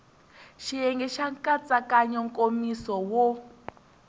xiyenge xa nkatsakanyo nkomiso wo